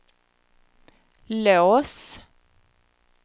lås